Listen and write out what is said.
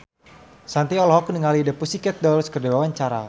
Shanti olohok ningali The Pussycat Dolls keur diwawancara